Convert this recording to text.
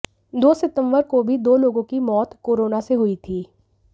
दो सितंबर को भी दो लोगों की मौत कोरोना से हुई थी